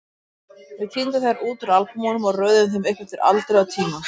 Við tíndum þær út úr albúmunum og röðuðum þeim upp eftir aldri og tíma.